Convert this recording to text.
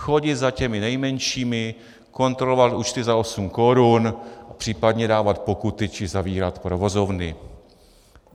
Chodit za těmi nejmenšími, kontrolovat účty za osm korun, případně dávat pokuty či zavírat provozovny.